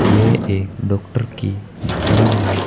ये एक डॉक्टर की दुकान है।